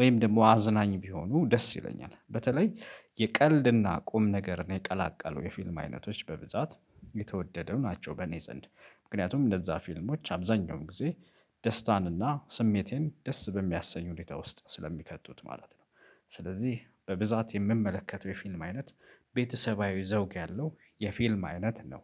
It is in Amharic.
ወይም ደግሞ አዝናኝ ቢሆኑ ደስ ይለኛል። በተለይ የቀልድና ቁም ነገርን የቀላቀሉ የፊልም አይነቶች በብዛት የተወደደው ናቸው። በእኔ ዘንድ ምክንያቱም እንደዛ ፊልሞች አብዛኛውን ጊዜ ደስታንና ስሜቴን ደስ በሚያሰኝ ሁኔታ ውስጥ ስለሚከቱት ማለት ነው። ስለዚህ በብዛት የምመለከተው የፊልም አይነት ቤተሰባዊ ዘውግ ያለው የፊልም አይነት ነው።